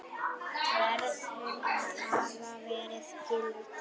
verður að hafa verið gildur.